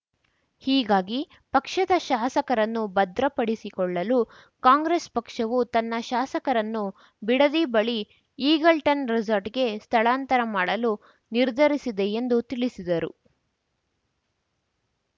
ಹೀಗಾಗಿ ಪಕ್ಷದ ಶಾಸಕರನ್ನು ಭದ್ರಪಡಿಸಿಕೊಳ್ಳಲು ಕಾಂಗ್ರೆಸ್‌ ಪಕ್ಷವು ತನ್ನ ಶಾಸಕರನ್ನು ಬಿಡದಿ ಬಳಿ ಈಗಲ್‌ಟನ್‌ ರೆಸಾರ್ಟ್‌ಗೆ ಸ್ಥಳಾಂತರ ಮಾಡಲು ನಿರ್ಧರಿಸಿದೆ ಎಂದು ತಿಳಿಸಿದರು